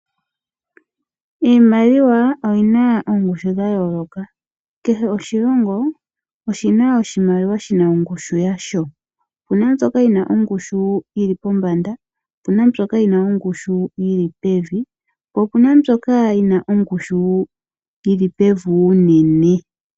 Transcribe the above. Iimaliwa oyina ongushu ya yooloka. Kehe oshilongo oshina oshimaliwa shina ongushu yasho. Opuna mbyoka yina ingushu yili po mbanda, opuna mbyoka yina ongushu yili pevi, po opuna mbyoka yina ongushu yili pevi unene.